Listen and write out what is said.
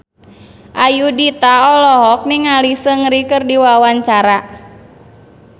Ayudhita olohok ningali Seungri keur diwawancara